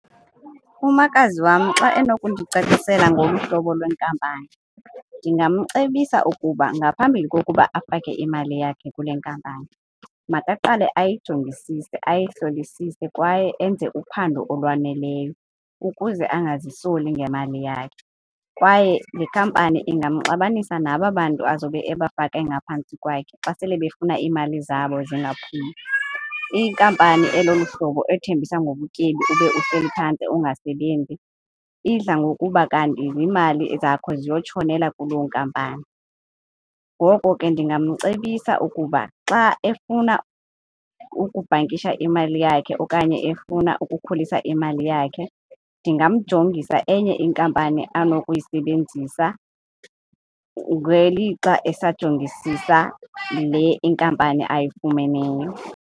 Umakazi wam xa enokundicacisela ngolu hlobo lwenkampani ndingamcebisa ukuba ngaphambili kokuba afake imali yakhe kule nkampani, makaqale ayijongisise, ayihlolisise kwaye enze uphando olwaneleyo ukuze angazisoli ngemali yakhe. Kwaye le company ingamxabanisa naba bantu azobe ebafake ngaphantsi kwakhe xa sele befuna iimali zabo zingaphumi. Inkampani elolu hlobo ethembisa ngobutyebi ube uhleli phantsi ungasebenzi, idla ngokuba kanti ziimali zakho ziyotshonela kuloo nkampani. Ngoko ke ndingamcebisa ukuba xa efuna ukubhankisha imali yakhe okanye efuna ukukhulisa imali yakhe, ndingamjongisa enye inkampani anokuyisebenzisa ngelixa esajongisisa le inkampani ayifumeneyo.